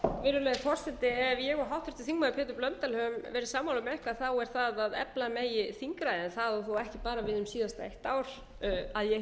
virðulegi forseti ef ég og háttvirtur þingmaður pétur blöndal höfum verið sammála um eitthvað er það að efla megi þingræðið það á þó ekki bara við um síðasta eitt ár að ég